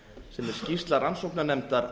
sem er skýrsla rannsóknarnefndar